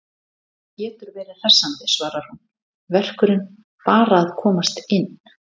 Það getur verið hressandi, svarar hún, verkurinn bara að komast inn.